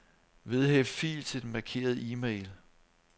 Vedhæft fil til den markerede e-mail.